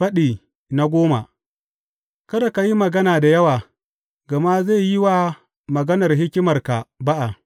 Faɗi goma Kada ka yi magana da wawa, gama zai yi wa maganar hikimarka ba’a.